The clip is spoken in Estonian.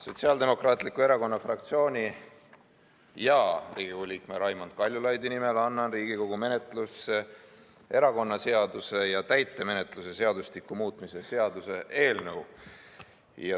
Sotsiaaldemokraatliku Erakonna fraktsiooni ja Riigikogu liikme Raimond Kaljulaidi nimel annan Riigikogu menetlusse erakonnaseaduse ja täitemenetluse seadustiku muutmise seaduse eelnõu.